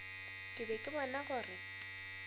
ke be ke bona gore